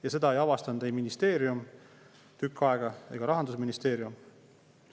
Ja seda ei avastanud tükk aega ei ministeerium ega Rahandusministeerium.